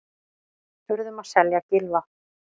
Urðum að selja Gylfa